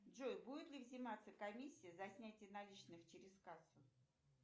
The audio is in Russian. джой будет ли взиматься комиссия за снятие наличных через кассу